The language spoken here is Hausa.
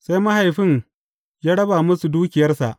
Sai mahaifin ya raba musu dukiyarsa.